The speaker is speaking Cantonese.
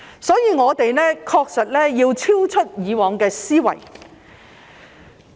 所以，我們確實要超越以往的思維。